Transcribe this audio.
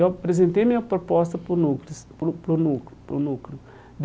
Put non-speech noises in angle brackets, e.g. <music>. Eu apresentei minha proposta para o <unintelligible> para o para o <unintelligible> para o Núcleo.